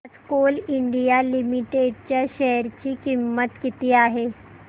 आज Coal India Limited च्या share ची किंमत किती आहे